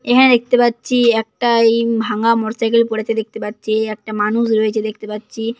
এখানে দেখতে পাচ্ছি একটাই এম ভাঙ্গা মোটরসাইকেল পড়েছে দেখতে পাচ্ছি। একটা মানুষ রয়েছে দেখতে পাচ্ছি।